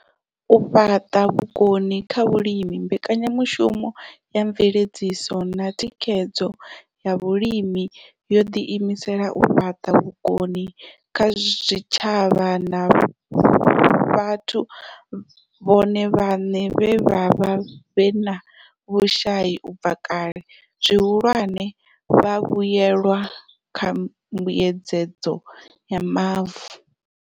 U fhaṱa vhukoni kha vhalimi Mbekanya mushumo ya Mveledziso na Thikhedzo ya Vhalimi yo ḓiimisela u fhaṱa vhukoni kha zwitshavha na vhathu vhone vhaṋe vhe vha vha vhe na vhushai u bva kale, zwihulwane vhavhuelwa kha Mbuedzedzo ya Mavu.